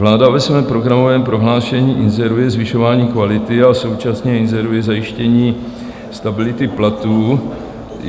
Vláda ve svém programovém prohlášení inzeruje zvyšování kvality a současně inzeruje zajištění stability platů.